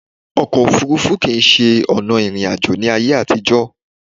Ọkò òfurufú kìí ṣe ọ̀nà ìrìn àjò ní ayé àtìjọ̀.